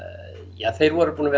ja þeir voru búnir að